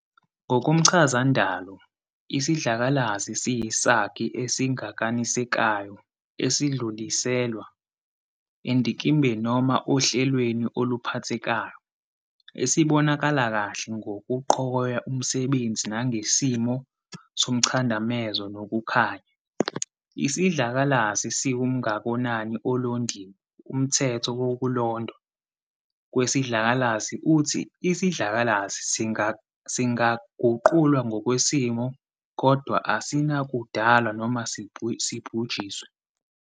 Ngokomchazandalo, isidlakalasi siyisakhi esingakanisekayo esidluliselwa endikimbeni noma ohlelweni oluphathekayo, esibonakala kahle ngokuqhogoya umsebenzi nangesimo somchadamezo nokukhanya. Isidlakalasi siwumngakonani olondiwe - umthetho wokulondwa kwesidlakalasi uthi isidlakalasi singaguqulwa ngokwesimo, kodwa asinakudalwa noma sibhujiswe.